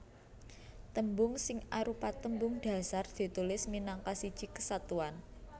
Tembung sing arupa tembung dhasar ditulis minangka siji kesatuan